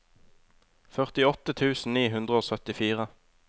førtiåtte tusen ni hundre og syttifire